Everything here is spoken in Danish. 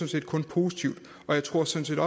set kun positivt og jeg tror sådan